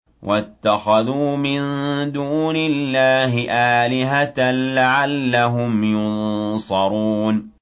وَاتَّخَذُوا مِن دُونِ اللَّهِ آلِهَةً لَّعَلَّهُمْ يُنصَرُونَ